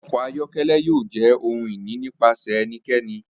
Awọn ọkọ ayọkẹlẹ yoo jẹ ohun ini nipasẹ ẹnikẹni.